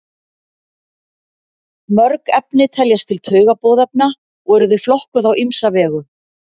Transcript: mörg efni teljast til taugaboðefna og eru þau flokkuð á ýmsa vegu